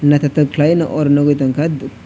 nythotok kalai oro nugui tonkha.